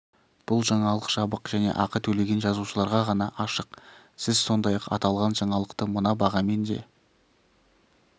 бұл жаңалық жабық және ақы төлеген жазылушыларға ғана ашық сіз сондай-ақ аталған жаңалықты мына бағамен де